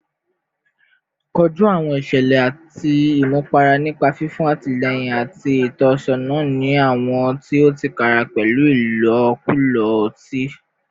Koju awọn iṣẹlẹ ti imutipara nipa fifun atilẹyin ati itọsọna si awọn ti o tiraka pẹlu ilokulo oti